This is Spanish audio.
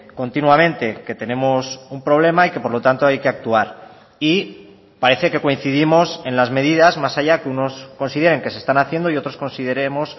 continuamente que tenemos un problema y que por lo tanto hay que actuar y parece que coincidimos en las medidas más allá que unos consideren que se están haciendo y otros consideremos